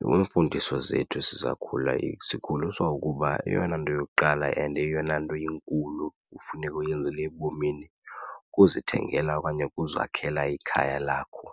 Iimfundiso zethu sisakhula sikhuliswa ukuba eyona nto yokuqala and eyona nto inkulu kufuneka uyenzile ebomini kukuzithengela okanye ukuzakhela ikhaya lakho.